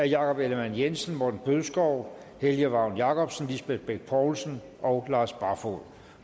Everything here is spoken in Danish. jakob ellemann jensen morten bødskov helge vagn jacobsen lisbeth bech poulsen og lars barfoed